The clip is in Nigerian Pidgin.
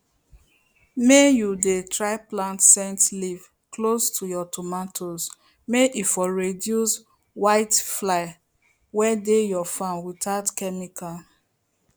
may you dey try plant scent leaf close to your tomatoes may e for reduce whitefly wey dey your farm without chemical